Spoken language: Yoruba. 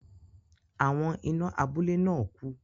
Àwọn iná abúlé náà ku